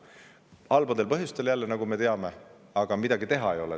Halbadel põhjustel jälle, nagu me teame, aga midagi teha ei ole.